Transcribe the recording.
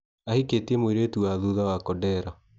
Ahĩkĩtie mũirĩtu wa thutha wa kodera.